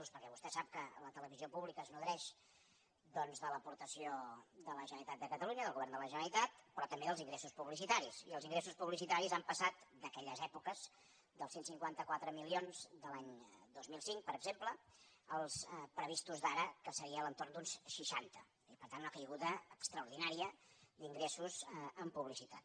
perquè vostè sap que la televisió pública es nodreix de l’aportació de la generalitat de catalunya del govern de la generalitat però també dels ingres·sos publicitaris els ingressos publicitaris han passat d’aquelles èpoques dels cent i cinquanta quatre milions de l’any dos mil cinc per exemple als previstos d’ara que seria a l’entorn d’uns seixanta i per tant una caiguda extraordinària d’in·gressos en publicitat